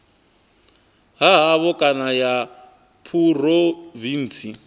ha havho kana ya phurovintsi